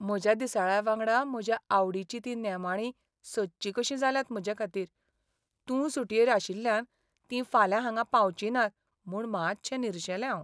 म्हज्या दिसाळ्यावांगडा म्हज्या आवडीचीं तीं नेमाळीं सदचीं कशीं जाल्यांत म्हजेखातीर. तूं सुटयेर आशिल्ल्यान तीं फाल्यां हांगा पावचीं नात म्हूण मातशें निरशेलें हांव.